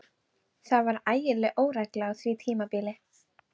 Það var ægileg óregla á því tímabili.